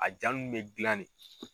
A jaa nun bɛ gilan de.